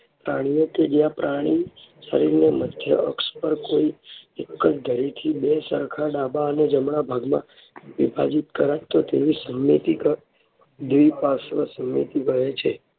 પ્રાણીઓ કે જ્યાં પ્રાણી શરીરને મધ્ય અક્ષ પર કોઈ એક જ ધરીથી બે સરખા ડાબા અને જમણા ભાગમાં વિભાજીત કરાય તો તેવી સમમિતિ દ્વિપ્રાર્શ્વ સમમિતિ કહે છે.